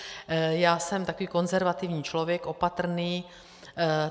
Já jsem takový konzervativní člověk, opatrný.